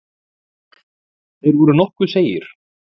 Þeir voru nokkuð seigir.